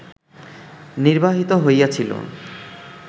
নির্বাহিত হইয়াছিল